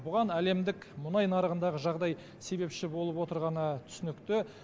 бұған әлемдік мұнай нарығындағы жағдай себепші болып отырғаны түсінікті